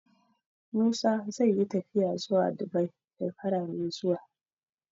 Musa zai yi tafiya zuwa Dubai shekara mai zuwa